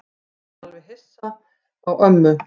Ég er alveg hissa á ömmu.